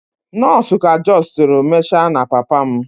Nọọsụ ka justiri mecha na papa m.